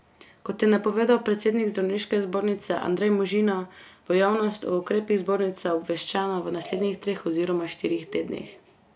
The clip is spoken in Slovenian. Kot je napovedal predsednik zdravniške zbornice Andrej Možina, bo javnost o ukrepih zbornice obveščena v naslednjih treh oziroma štirih tednih.